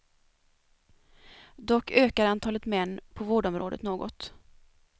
Dock ökar antalet män på vårdområdet något.